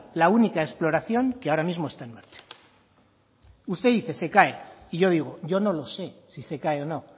la única exploración que ahora mismo está en marcha usted dice se cae y yo digo yo no lo sé si se cae o no